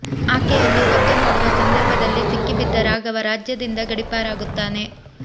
ಆಕೆಯನ್ನು ಕದ್ದು ನೋಡುವ ಸಂದರ್ಭದಲ್ಲಿ ಸಿಕ್ಕಿ ಬಿದ್ದ ರಾಘವ ರಾಜ್ಯದಿಂದ ಗಡಿಪಾರಾಗುತ್ತಾನೆ